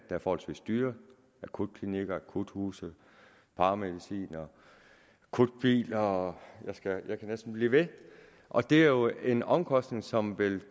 er forholdsvis dyre akutklinikker akuthuse paramedicinere akutbiler og jeg kunne næsten blive ved og det er jo en omkostning som vil